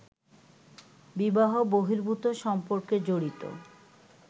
বিবাহ-বহির্ভূত সম্পর্কে জড়িত